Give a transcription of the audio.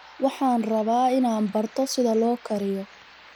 Waxaan rabaa inaan barto sida loo kariyo